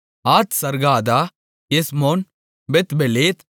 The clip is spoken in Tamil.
Hazargaddah Heshmon Bethpelet